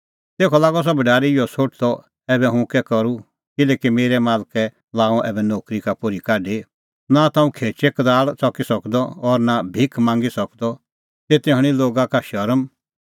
तेखअ लागअ सह भढारी इहअ सोठदअ ऐबै हुंह कै करूं किल्हैकि मेरै मालकै लाअ हुंह ऐबै नोकरी का पोर्ही काढी नां ता हुंह खेचै कदाल़ च़की सकदअ और भिख निं मांगी सकदअ तेते हणीं लोगा का शरम